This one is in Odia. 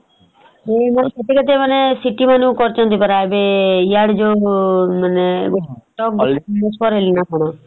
ସେଠି ମାନେ କରିଛନ୍ତି ପରା ଏବେ ଇଆଡେ ଯଉ